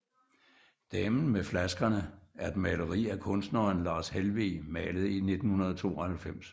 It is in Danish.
Damen med flaskerne er et maleri af kunstneren Lars Helweg malet i 1992